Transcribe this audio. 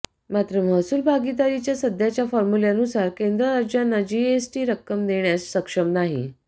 मात्र महसूल भागीदारीच्या सध्याच्या फॉर्म्युल्यानुसार केंद्र राज्यांना जीएसटीची रक्कम देण्यास सक्षम नाही